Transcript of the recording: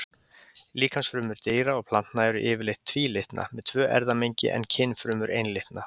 Líkamsfrumur dýra og plantna eru yfirleitt tvílitna, með tvö erfðamengi, en kynfrumur einlitna.